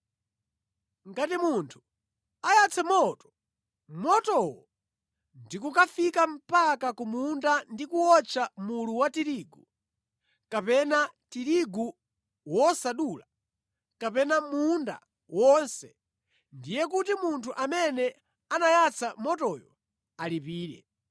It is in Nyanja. “Ngati munthu ayatsa moto, motowo ndikukafika mpaka ku munda ndi kuwotcha mulu wa tirigu kapena tirigu wosadula, kapena munda wonse, ndiye kuti munthu amene anayatsa motoyo alipire.